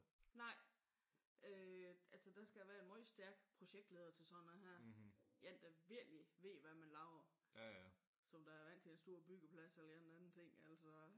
Nej øh altså der skal være en meget stærkt projektleder til sådan noget her. En der virkelig ved hvad man laver som der er vant til en stor byggeplads eller en eller anden ting altså